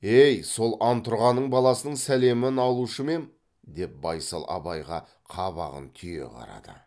ей сол антұрғанның баласының сәлемін алушы ма ем деп байсал абайға қабағын түйе қарады